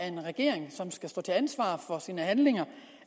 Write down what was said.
en regering som skal stå til ansvar for sine handlinger